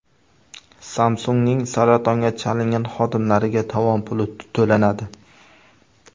Samsung‘ning saratonga chalingan xodimlariga tovon puli to‘lanadi.